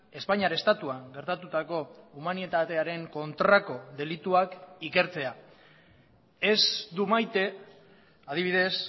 espainiar estatuan gertatutako humanitatearen kontrako delituak ikertzea ez du maite adibidez